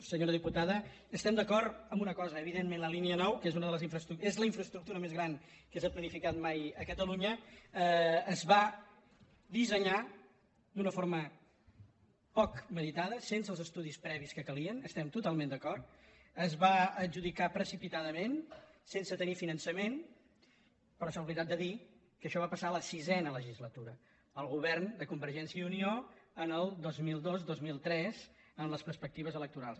senyora diputada estem d’acord en una cosa evidentment la línia nou que és la infraestructura més gran que s’ha planificat mai a catalunya es va dissenyar d’una forma poc meditada sense els estudis previs que calien hi estem totalment d’acord es va adjudicar precipitadament sense tenir finançament però s’ha oblidat de dir que això va passar en la sisena legislatura el govern de convergència i unió el dos mil dos dos mil tres amb les perspectives electorals